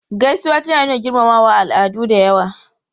Gaisuwa tana nuna girmamawa a al'adu da yawa.